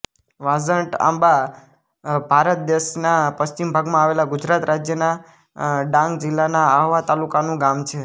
વાંઝટઆંબા ભારત દેશના પશ્ચિમ ભાગમાં આવેલા ગુજરાત રાજ્યના ડાંગ જિલ્લાના આહવા તાલુકાનું ગામ છે